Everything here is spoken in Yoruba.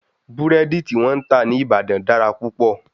Búrẹ́dí tí wọ́n ń tà ní Ìbàdàn dára púpọ̀.